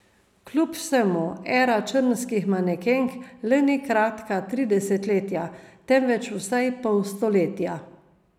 Kljub vsemu era črnskih manekenk le ni kratka tri desetletja, temveč vsaj pol stoletja.